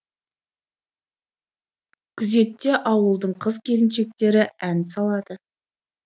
күзетте ауылдың қыз келіншектері ән салады